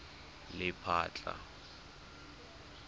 lephatla